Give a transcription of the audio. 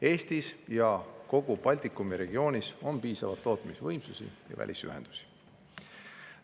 Eestis ja kogu Baltikumi regioonis on piisavalt tootmisvõimsusi ja välisühendusi.